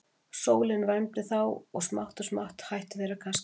Sólin vermdi þá og smátt og smátt hættu þeir að kasta út í.